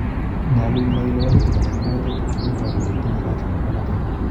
Nyolu in nai ile walutik alak en magatet komo iboru kole itinye kansa nebo magatet